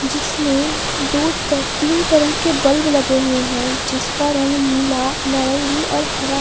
जिसमें दो तीन तरह के बल्ब लगे हुए हैं जिसका रंग नीला नारंगी और हरा--